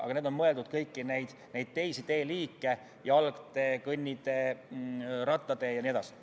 Aga mõeldud on kõiki neid teisi teeliike: jalgtee, kõnnitee, rattatee jne.